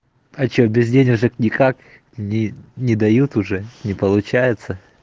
а что без денежек никак не дают уже не получается